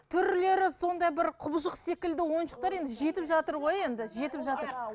түрлері сондай бір құбыжық секілді ойыншықтар енді жетіп жатыр ғой енді жетіп жатыр